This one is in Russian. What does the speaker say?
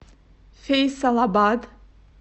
фейсалабад